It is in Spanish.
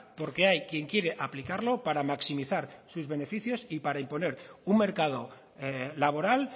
porque hay quien quiere aplicarlo para maximizar sus beneficios y para imponer un mercado laboral